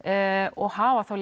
og hafa þá